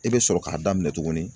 I bɛ sɔrɔ k'a daminɛ tuguni